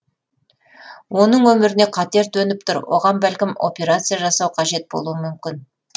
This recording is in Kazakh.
оның өміріне қатер төніп түр оған бәлкім операция жасау қажет болуы мүмкін